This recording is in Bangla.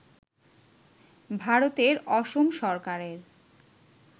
ভারতের অসম সরকারের